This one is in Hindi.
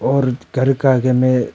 औरत घर का आगे में--